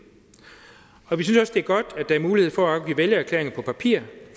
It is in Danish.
og vi synes også det er godt at der er mulighed for at afgive vælgererklæringer på papir